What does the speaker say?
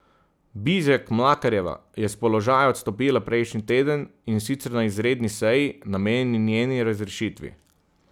Bizjak Mlakarjeva je s položaja odstopila prejšnji teden, in sicer na izredni seji, namenjeni njeni razrešitvi.